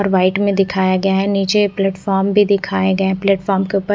और व्हाइट मे दिखाया गया है नीचे प्लेटफॉर्म भी दिखाए गए हैं प्लेटफॉर्म के ऊपर--